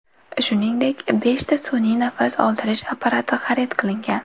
Shuningdek, beshta sun’iy nafas oldirish apparati xarid qilingan.